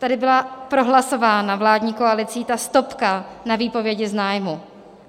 Tady byla prohlasována vládní koalicí ta stopka na výpovědi z nájmu.